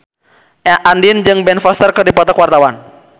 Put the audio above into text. Andien jeung Ben Foster keur dipoto ku wartawan